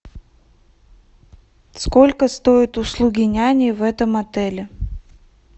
сколько стоят услуги няни в этом отеле